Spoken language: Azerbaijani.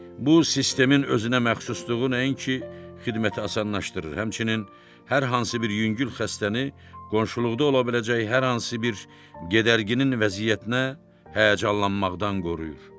Bu sistemin özünə məxsusluğu nəinki xidməti asanlaşdırır, həmçinin hər hansı bir yüngül xəstəni qonşuluqda ola biləcəyi hər hansı bir gedərginin vəziyyətinə həyəcanlanmaqdan qoruyur.